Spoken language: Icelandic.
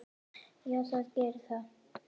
Já, það gerir það.